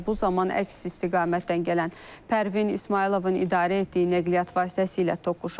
və bu zaman əks istiqamətdən gələn Pərvin İsmayılovun idarə etdiyi nəqliyyat vasitəsilə toqquşub.